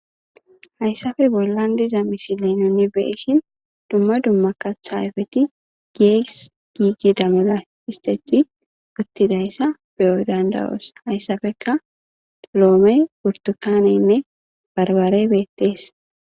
Hayssafe bollan diza misile nuni beishin dumma dumma kathaayfeti giess giigi damada isteti guttidayssa beyo dandawoos hayssafeka toloome purtukaneynne barbare beettees.